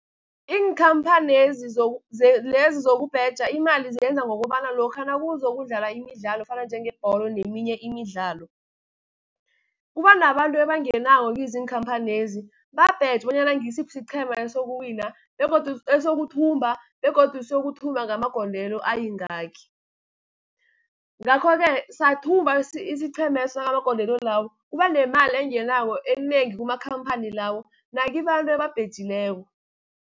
Iinkhamphani lezizokubheja, imali ziyenza ngokobana lokha nakuzokudlala imidlalo efana njengebholo neminye imidlalo. Kubanabantu ebangenako kizo iinkhamphanezi babheje bonyana ngisiphi siqhema esokuthumba, begodu siyokuthumba ngamagondelo ayingaki. Ngakho-ke sathumba isiqhemeso ngamagondelo lawo, kubanemali engenako enengi kumakhamphani lawo nakibantu ababhejileko.